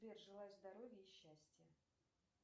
сбер желаю здоровья и счастья